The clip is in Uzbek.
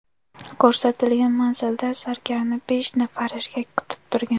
Ko‘rsatilgan manzilda zargarni besh nafar erkak kutib turgan.